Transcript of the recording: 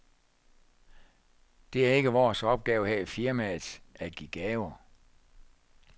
Det er ikke vores opgave her i firmaet at give gaver.